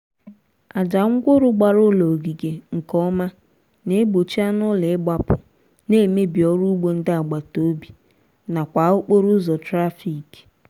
aja ngwuru gbara ụlọ ogige nkeọma na-gbochi anụụlọ ịgbapụ na-emebi ọrụugbo ndị agbataobi n'akwa okporoụzọ trafik